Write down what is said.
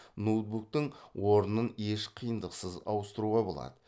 ноутбуктын орнын еш қиындықсыз ауыстыруға болады